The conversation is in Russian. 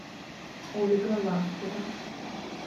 ольга лаптева